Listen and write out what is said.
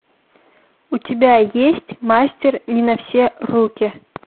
у тебя есть мастер не на все руки